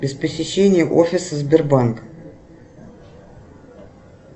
без посещения офиса сбербанк